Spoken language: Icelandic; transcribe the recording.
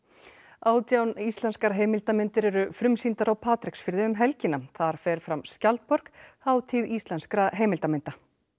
átján íslenskar heimildarmyndir eru frumsýndar á Patreksfirði um helgina þar fer fram skjaldborg hátíð íslenskra heimildarmynda